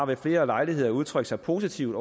ved flere lejligheder har udtrykt sig positivt